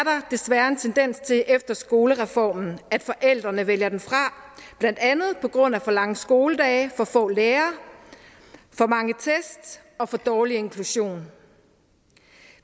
desværre en tendens til efter skolereformen at forældrene vælger den fra blandt andet på grund af for lange skoledage for få lærere for mange tests og for dårlig inklusion